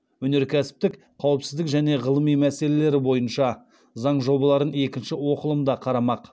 өнеркәсіптік қауіпсіздік және ғылым мәселелері бойынша заң жобаларын екінші оқылымда қарамақ